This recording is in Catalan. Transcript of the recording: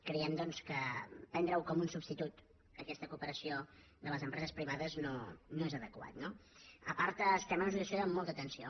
creiem que prendre com un substitut aquesta cooperació de les empreses privades no és adequat no a part estem en una situació de molta tensió